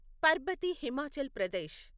Parbati Himachal Pradesh